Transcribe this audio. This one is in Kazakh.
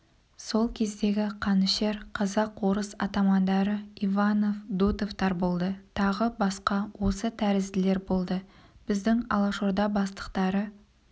сол кездегі қанішер казак-орыс атамандары иванов дутовтар болды тағы басқа осы тәрізділер болды біздің алашорда бастықтары